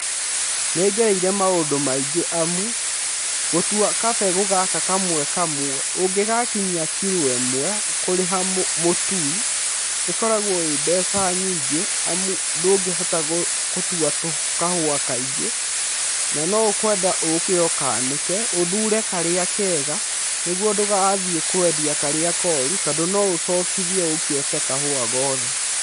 Nĩ ngereire maũndũ maingĩ amu gũtua kabegũ gaka kamwe kamwe ũngĩgakinyia kiro ĩmwe kũrĩha mũtui, ĩkoragwo ĩ mbeca nyingĩ, amu ndũngĩhota gũtua kahũa kaingĩ, na no ũkwenda ũke ũkanĩke, ũthure karĩa kega, nĩguo ndũgathii kwendia karĩa koru, tondũ no ũcokithio ũke ũte kahũa gothe.